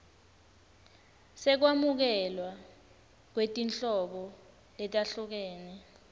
sekwamukelwa kwetinhlobo letahlukene